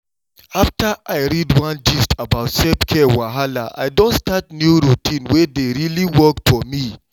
after i read one gist about self-care wahala i don start new routine wey dey really work for me.